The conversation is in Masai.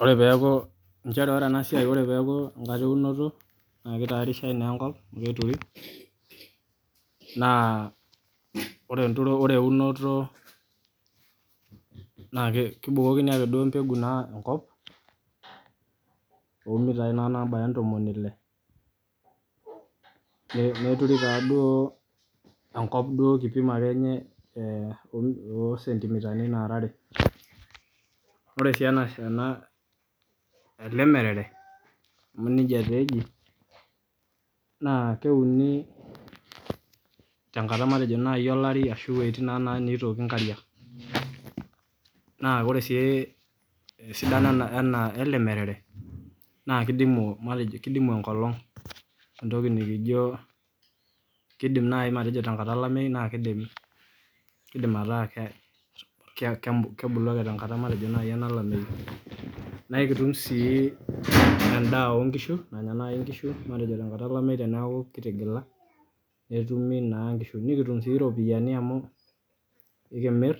Ore peeku enkata eunoto naa kitayarishai naa enkop amu keturi naa ore eunoto naa kebukoki ake mbeku engop toomitayi nabaya intomoni ile neturi taaduo kipimo akenye oosentimitani naara are ore sii ene ele merere amu nija taa eji naa keuni tenkata olari ashu ebukokini inkariak Naa ore sii esidano ele merere naa kidimu enkolong entoki nikijo kiindim nai atejo tenkata olameyu naa kiidim atataa kebuluake tenkata olameyu naa aikitum sii endaa oongishu nanya nai inkishu tenkata olameyu teniaku kitigila netumi naa ngishu nikitum siiyiok iropiani amu aikimir